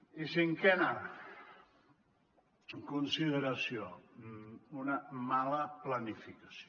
i cinquena consideració una mala planificació